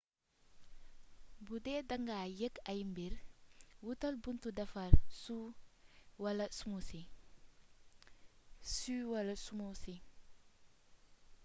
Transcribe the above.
bu dee da nga yég ay mbir wutal buntu defar suu wala smoothi